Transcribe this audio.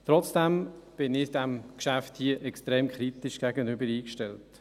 Trotzdem bin ich diesem Geschäft gegenüber sehr kritisch eingestellt.